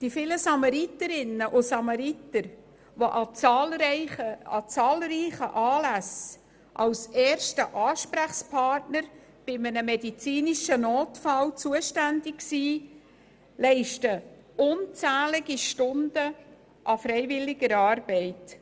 Die vielen Samariterinnen und Samariter, die an zahlreichen Anlässen als erste Ansprechpersonen bei einem medizinischen Notfall zur Verfügung stehen, leisten unzählige Stunden an freiwilliger Arbeit.